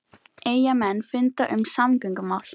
Eyjamenn funda um samgöngumál